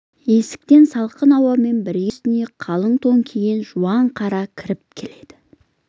есіктен салқын ауамен бірге үстіне қалың тон киген жуан қара кіріп келеді